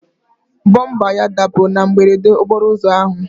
Bọmba ya dapụrụ na mberede okporo ụzọ ahụ.